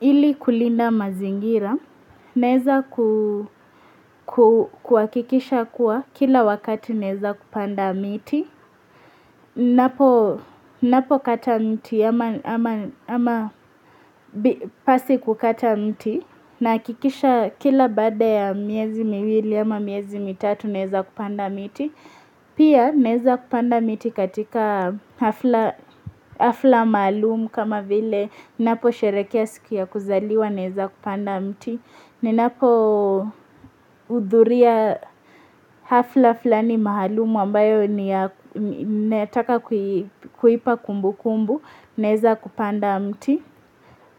Ili kulinda mazingira, naeza kuhakikisha kuwa kila wakati naeza kupanda miti, napokata mti ama ama pasi kukata mti nahakikisha kila bada ya miezi miwili ama miezi mitatu naeza panda miti. Pia naeza kupanda miti katika hafla maalumu kama vile naposherekea siku ya kuzaliwa naeza kupanda mti. Ninapohudhuria hafla flani maalumu ambayo ni ya ninataka kuipa kumbukumbu naeza kupanda mti.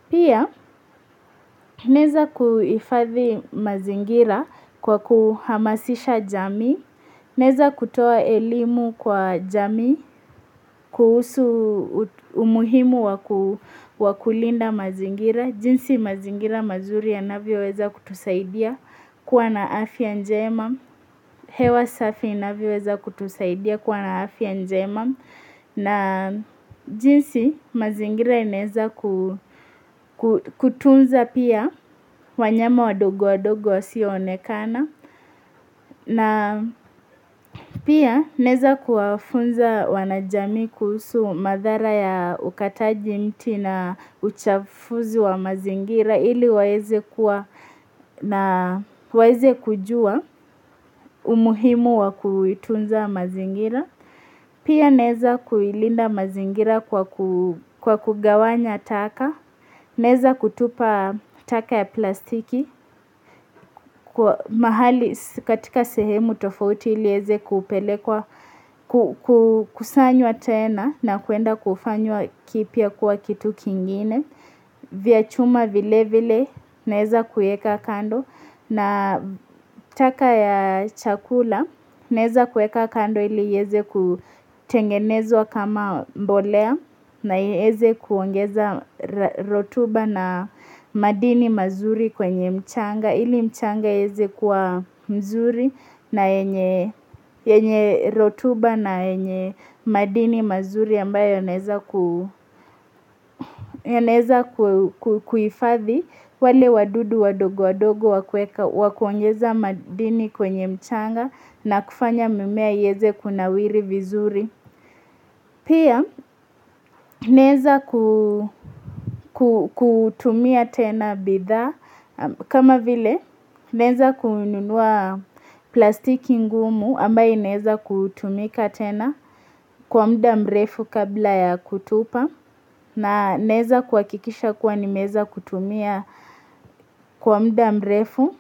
Pia, naeza kuhifadhi mazingira kwa kuhamasisha jamii, naeza kutoa elimu kwa jamii, kuhusu umuhimu wa kulinda mazingira, jinsi mazingira mazuri yanavyoweza kutusaidia kwa na afya njema, hewa safi inavyoweza kutusaidia kuwa na afya njema. Na jinsi mazingira inaeza ku kutunza pia wanyama wadogo wadogo wasionekana na pia naeza kuwafunza wanajamii kuhusu madhara ya ukataji mti na uchafuzi wa mazingira ili waeze kuwa na waeze kujua umuhimu wa kuitunza mazingira. Pia naeza kuilinda mazingira kwa ku kwa kugawanya taka. Neza kutupa taka ya plastiki. Kwa mahali katika sehemu tofauti ili ieze kepelekwa kukusanywa tena na kuenda kufanywa kipya kuwa kitu kingine. Vya chuma vile vile naeza kueka kando na taka ya chakula naeza kueka kando ili ieze kutengenezwa kama mbolea na ieze kuongeza rotuba na madini mazuri kwenye mchanga. Ili mchanga ieze kuwa mzuri na yenye rotuba na yenye madini mazuri ambayo yanaeza ku yanaeza kuifadhi wale wadudu wadogo wadogo wa kueka wa kuongeza madini kwenye mchanga na kufanya mimea ieze kunawiri vizuri. Pia naeza ku ku kutumia tena bidhaa kama vile neza kununua plastiki ngumu ambaye inaeza kutumika tena kwa mda mrefu kabla ya kutupa na naeza kuhakikisha kuwa nimeeza kutumia kwa mda mrefu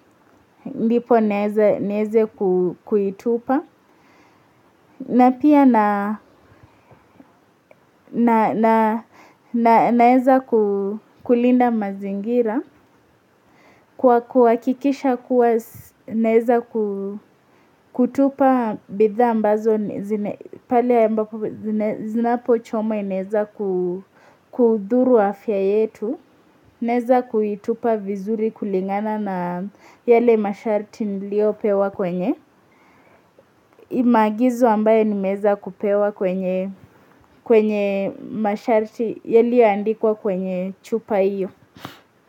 mdipo naeze nieze ku kuitupa. Na pia na na na naeza kulinda mazingira, kwa kuhakikisha kuwa naeza kutupa bidhaa ambazo pale zinapochoma inaeza kudhuru afya yetu, naeza kuitupa vizuri kulingana na yale masharti niliyopewa kwenye. Maagizo ambaye nimeeza kupewa kwenye kwenye masharti yaliyaandikwa kwenye chupa iyo.